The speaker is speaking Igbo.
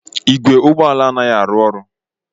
Igwe ụgbọ ala a anaghị arụ ọrụ.